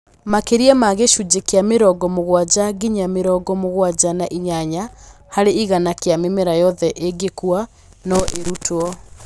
Makĩria ma gĩcunjĩ kĩa mĩrongo mũgwanja nginya mĩrongo mũgwanja na inyanya harĩ igana kĩa mĩmera yothe ĩngĩkua, no ĩrutwo